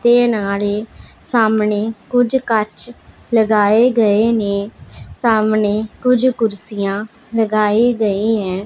ਤੇ ਨਾਲ ਹੀ ਸਾਹਮਣੇ ਕੁਝ ਕੱਚ ਲਗਾਏ ਗਏ ਨੇ ਸਾਹਮਣੇ ਕੁਝ ਕੁਰਸੀਆਂ ਲਗਾਈ ਗਈ ਐ।